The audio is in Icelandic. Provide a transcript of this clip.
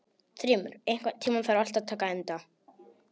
Þrymur, einhvern tímann þarf allt að taka enda.